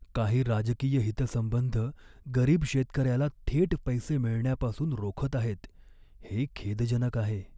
काही राजकीय हितसंबंध गरीब शेतकऱ्याला थेट पैसे मिळण्यापासून रोखत आहेत, हे खेदजनक आहे.